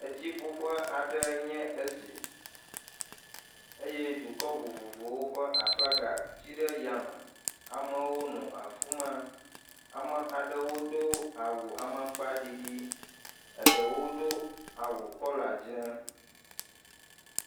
Etsiƒuƒe aɖee nye esi eye dukɔ vovovowo ƒe aflaga tsi ɖe yame, amewo nɔ afi ma, ame aɖewo do awu amakpaɖiɖi, eɖewo do awu kɔla dzɛ̃.